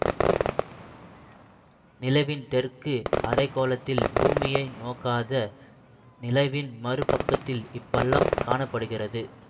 நிலவின் தெற்கு அரை கோளத்தில் பூமியை நோக்காத நிலவின் மறு பக்கத்தில் இப்பள்ளம் காண படுகிறது